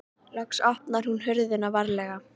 Loks opnaði hún hurðina varlega.